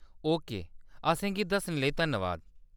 Okay, असेंगी दस्सने लेई धन्नवाद।